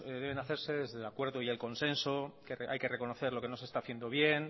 deben hacerse desde el acuerdo y el consenso que hay que reconocer lo que no se está haciendo bien